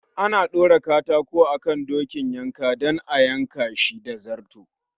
Ana ɗaura katako akan dokin yanka dan a yanka Shi da zarto